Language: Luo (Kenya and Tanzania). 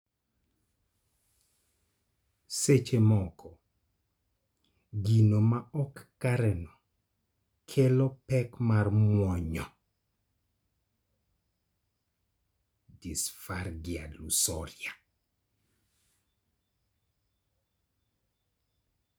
Seche moko gino ma ok kareno kelo pek mar muonyo (disphagia lusoria).